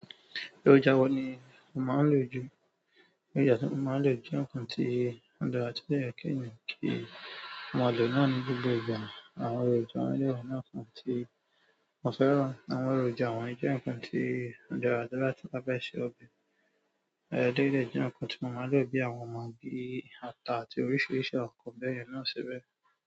Èròjà wo ní ó máa ń lò jù? Èròjà tí mo máa ń lò jẹ́ nǹkan tí ó dára tí ó dẹ̀ yẹ kí ènìyàn kí ó máa lò náà ní gbogbo ìgbà. Eléyìí dẹ̀ jẹ́ nǹkan tí mo máa ń lò bí àwọn magí, ata àti oríṣìíríṣìí àwọn nǹkan bẹ́yẹn náà síbẹ̀.